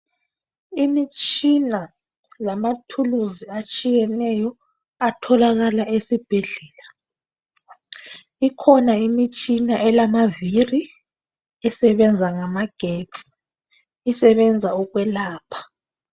Imitshina lezikhali ezitshiyeneyo ezitholakala esibhedlela. Ikhona imitshina elamavili esebenza ngamagetsi eyokwelapha.